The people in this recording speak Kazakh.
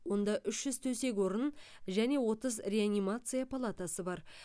онда үш жүз төсек орын және отыз реанимация палатасы бар